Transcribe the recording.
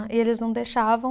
E eles não deixavam.